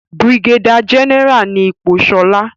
brigadier general ni ipò Shola.